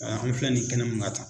An filɛ nin ye kɛnɛ min kan tan